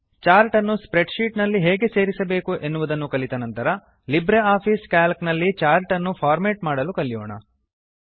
chart ಅನ್ನು spreadsheet ನಲ್ಲಿ ಹೇಗೆ ಸೇರಿಸಬೇಕು ಎನ್ನುವುದನ್ನು ಕಲಿತ ಅನಂತರ ಲಿಬ್ರಿಆಫಿಸ್ ಸಿಎಎಲ್ಸಿ ನಲ್ಲಿ ಚಾರ್ಟ್ ಅನ್ನು ಫಾರ್ಮೇಟ್ ಮಾಡಲು ಕಲಿಯೋಣ